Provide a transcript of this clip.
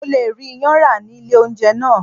Mo le rí iyán rà ní ilé oúnjẹ náà.